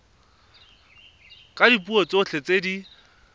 ka dipuo tsotlhe tse di